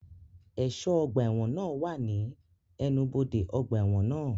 Ẹ̀ṣọ́ ọgbà ẹ̀wọ̀n náà wà ní ẹnubodè ọgbà ẹ̀wọ̀n náà